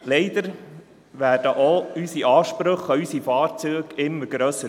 Leider werden auch unsere Ansprüche an unsere Fahrzeuge immer grösser.